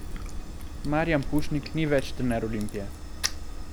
Marijan Pušnik ni več trener Olimpije.